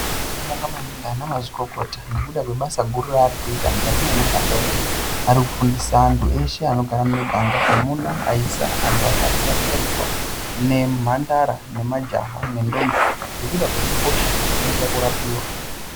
Tinoda kubonga maningi ana mazvikokota nekuda kwebasa guru revanoita mukati memiganga edu varikufundisa andu eshe anogara muno visa, vakadzi, asharuka, nemhandara nemajaha nekuda kwekukosha kwekubairirwa.